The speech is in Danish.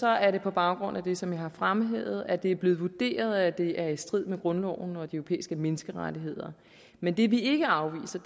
er det på baggrund af det som jeg har fremhævet nemlig at det er blevet vurderet at det er i strid med grundloven og de europæiske menneskerettigheder men det vi ikke afviser